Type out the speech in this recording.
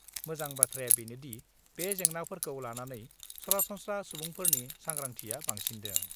मोजां बाथ्राया बेनोदि, बे जेंनाफोरखौ लानानै सरासनस्रा सुबुंफोरनि सांग्रांथिआ बांसिन्दों।